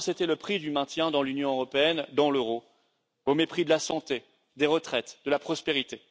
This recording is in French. Parce que c'était le prix du maintien dans l'Union européenne et dans l'euro, au mépris de la santé, des retraites et de la prospérité.